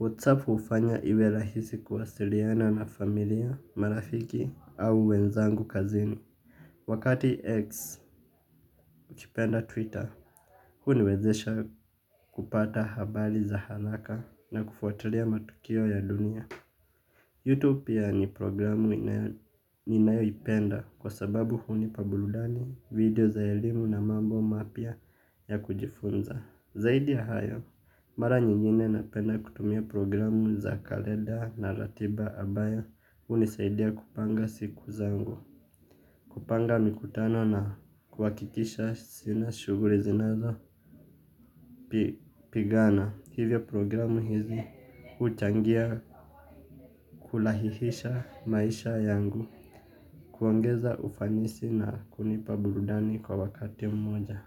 WhatsApp ufanya iwe rahisi kuwasiliana na familia, marafiki au wenzangu kazini. Wakati X ukipenda Twitter, huniwezesha kupata habari za haraka na kufuatilia matukio ya dunia. Youtube pia ni programu ninayo ipenda kwa sababu hunipa burudani video za elimu na mambo mapya ya kujifunza. Zaidi ya hayo, mara nyingine napenda kutumia programu za kalenda na ratiba ambayo hunisaidia kupanga siku zangu. Kupanga mikutano na kuhakikisha sina shughuli zinazo pigana hivyo programu hizi uchangia kurahisisha maisha yangu kuongeza ufanisi na kunipa burudani kwa wakati mmoja.